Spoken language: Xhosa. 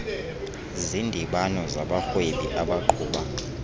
zindibano zabarhwebi abaqhuba